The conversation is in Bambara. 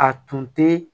A tun tɛ